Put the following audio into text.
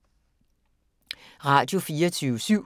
Radio24syv